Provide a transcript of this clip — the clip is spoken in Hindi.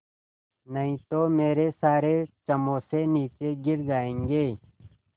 नहीं तो मेरे सारे समोसे नीचे गिर जायेंगे